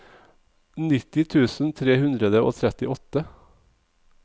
nitti tusen tre hundre og trettiåtte